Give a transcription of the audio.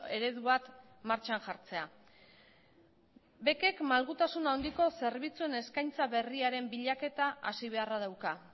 eredu bat martxan jartzea bec ek malgutasun handiko zerbitzuen eskaintza berriaren bilaketa hasi beharra dauka